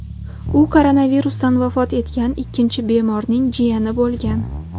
U koronavirusdan vafot etgan ikkinchi bemorning jiyani bo‘lgan .